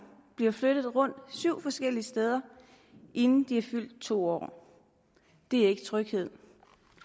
blev flyttet rundt syv forskellige steder inden de var fyldt to år det er ikke tryghed